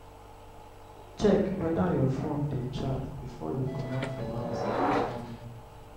check weda your phone dey charged before you comot for house in the morning